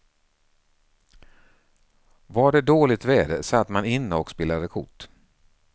Var det dåligt väder satt man inne och spelade kort.